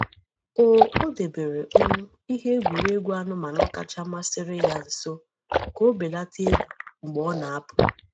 O odebere um ihe egwuregwu anụmanụ kacha masịrị ya nso ka o belata egwu mgbe ọ na-apụ.